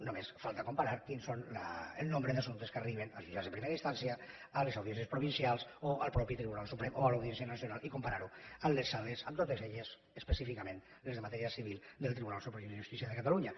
només falta comparar quin és el nombre d’assumptes que arriben als jutjats de primera instància a les audiències provincials o al mateix tribunal suprem o a l’audiència nacional i comparar ho amb les sales totes elles específicament les de matèria civil del tribunal superior de justícia de catalunya